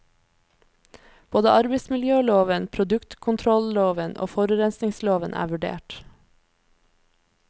Både arbeidsmiljøloven, produktkontrolloven og forurensningsloven er vurdert.